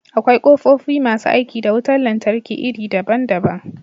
Akwai ƙofofi masu aiki da wutar lantarki iri daban-daban.